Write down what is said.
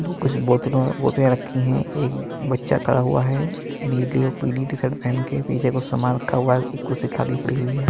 कुछ बोतलों में रखी हैं एक बच्चा खड़ा हुआ है नीली और पीली टी शर्ट पहन के पीछे कुछ सामान रखा हुआ है एक कुर्सी खाली पड़ी हुई है।